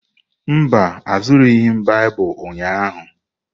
Mba, azụrụghị m Baịbụl ụnyahụ.